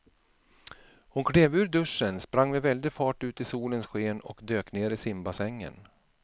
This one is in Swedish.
Hon klev ur duschen, sprang med väldig fart ut i solens sken och dök ner i simbassängen.